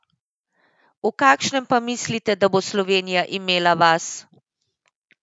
V kakšnem pa mislite, da bo Slovenija imela vas?